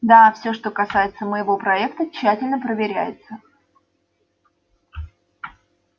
да всё что касается моего проекта тщательно проверяется